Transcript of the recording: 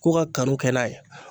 K'o ka kanu kɛ n'a ye